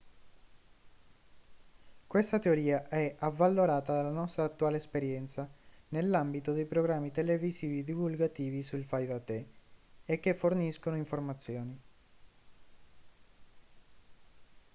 questa teoria è avvalorata dalla nostra attuale esperienza nell'ambito dei programmi televisivi divulgativi sul fai da te e che forniscono informazioni